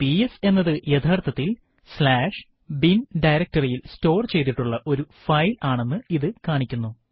PS എന്നത് യഥാർത്ഥത്തിൽ bin directoryയിൽ സ്റ്റോർ ചെയ്തിട്ടുള്ള ഒരു ഫൈൽ ആണെന്ന് ഇത് കാണിക്കുന്നു